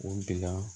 O bila